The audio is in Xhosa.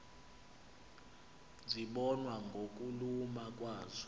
zibonwa ngokuluma kwazo